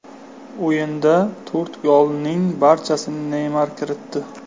O‘yinda to‘rt golning barchasini Neymar kiritdi.